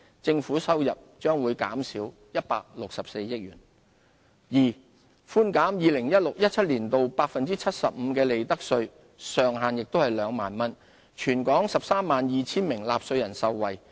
政府收入將減少164億元；二寬減 2016-2017 年度 75% 的利得稅，上限為2萬元，全港132 000名納稅人受惠。